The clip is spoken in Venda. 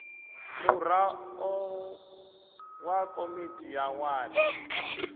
muraḓo wa komiti ya wadi